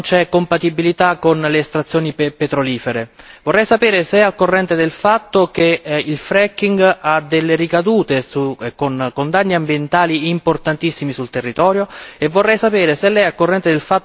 Vorrei sapere se è al corrente del fatto che il fracking ha delle ricadute con danni ambientali importantissimi sul territorio, e vorrei sapere se Lei è al corrente del fatto che l'esposizione agli idrocarburi è cancerogena.